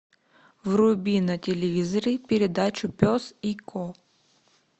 вруби на телевизоре передачу пес и ко